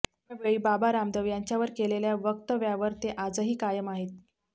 त्यावेळी बाबा रामदेव यांच्यावर केलेल्या वक्तव्यावर ते आजही कायम आहेत